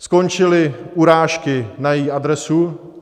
Skončily urážky na její adresu.